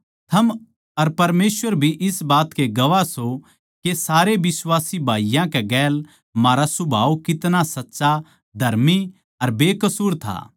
थम अर परमेसवर भी इस बात के गवाह सों के सारे बिश्वासी भाईयाँ कै गेल म्हारा सुभाव कितना सच्चा धर्मी अर बेकसूर था